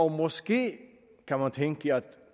måske kan man tænke var